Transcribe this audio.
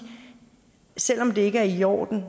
selv om det ikke er i orden